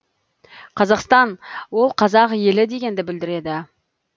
қазақстан ол қазақ елі дегенді білдіреді